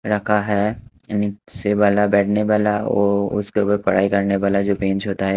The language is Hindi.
रखा है नीचे वाला बैठने वाला ओ उसके ऊपर पढ़ाई करने वाला जो बेंच होता है--